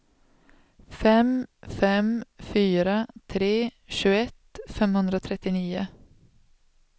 fem fem fyra tre tjugoett femhundratrettionio